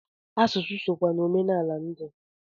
Asụsụ sokwa n'omenala ndị